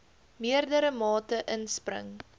meerdere mate inspring